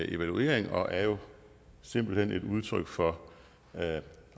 evaluering og er jo simpelt hen et udtryk for